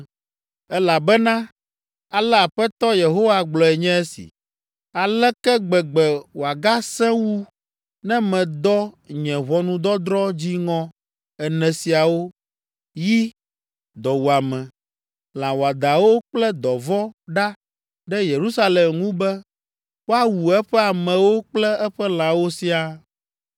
“Elabena ale Aƒetɔ Yehowa gblɔe nye si, ‘Aleke gbegbe wòagasẽ wu ne medɔ nye ʋɔnudɔdrɔ̃ dziŋɔ ene siawo, yi, dɔwuame, lã wɔadãwo kple dɔvɔ̃ ɖa ɖe Yerusalem ŋu be woawu eƒe amewo kple eƒe lãwo siaa!